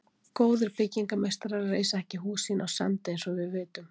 Góðir byggingarmeistarar reisa ekki hús sín á sandi, eins og við vitum.